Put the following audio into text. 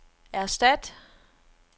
erstat